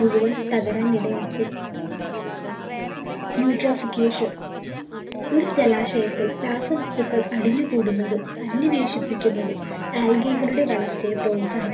മുഴുവൻ തകരാൻ ഇടയാക്കും Intoxication ഒരു ജലാശയത്തിൽ രാസവസ്‌തുക്കൾ അടിഞ്ഞുകൂടുന്നതും സന്നിവേശിപ്പിക്കുന്നതും algae കളുടെ വളർച്ചയെ പ്രോത്സാഹി